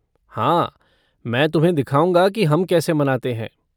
हाँ मैं तुम्हें दिखाऊँगा कि हम कैसे मनाते हैं।